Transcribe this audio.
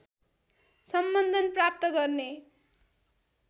सम्बन्धन प्राप्त गर्ने